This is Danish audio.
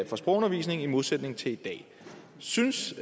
for sprogundervisning i modsætning til i dag synes